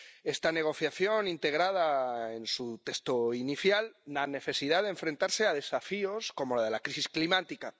Esta negociación integraba en su texto inicial la necesidad de enfrentarse a desafíos como el de la crisis climática.